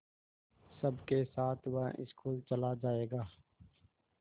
सबके साथ वह स्कूल चला जायेगा